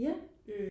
ja